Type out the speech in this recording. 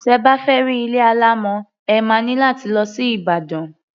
Tẹ bá fẹ́ rí ilé alámọ̀, ẹ má ní láti lọ sí Ìbàdàn.